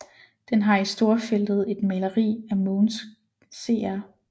Den har i storfeltet et maleri af Mogens Cr